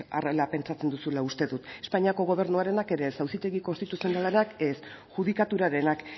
horrela pentsatzen duzula uste dut espainiako gobernuarenak ere ez auzitegi konstituzionalenak ez judikaturarenak